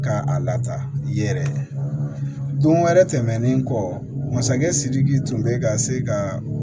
Ka a lataa yɛrɛ don wɛrɛ tɛmɛnen kɔ masakɛ sidiki tun bɛ ka se ka